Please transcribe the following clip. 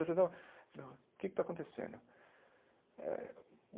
Coisa e tal o que é que está acontecendo? eh